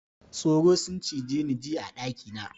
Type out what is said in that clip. Tsoro sun cije ni jiya a daki na.